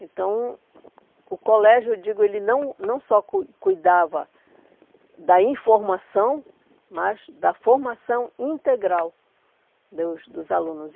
Então, o colégio, eu digo, ele não não só cui cuidava da informação, mas da formação integral dos dos alunos.